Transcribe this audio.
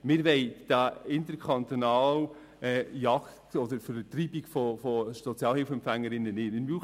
Diese interkantonale Jagd oder Vertreibung von Sozialhilfeempfängerinnen und -empfängern wollen wir nicht.